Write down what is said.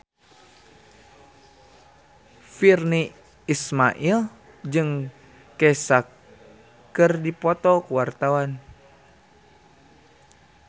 Virnie Ismail jeung Kesha keur dipoto ku wartawan